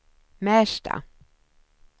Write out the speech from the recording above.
Märsta